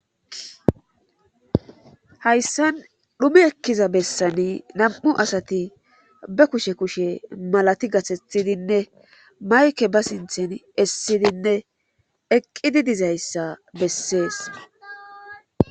hayssan dhume ekkiza bessani nam7u asati ba kushe kushe malati gasethidinne mayke ba sinthen essidinne eqqidi dizayssa bessees